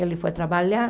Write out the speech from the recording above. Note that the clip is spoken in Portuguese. Ele foi trabalhar.